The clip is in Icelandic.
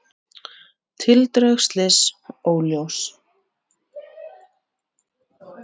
Þeir eru enn þá í þróun